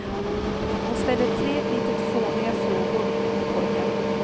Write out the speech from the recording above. Hon ställer tre litet fåniga frågor till pojkarna.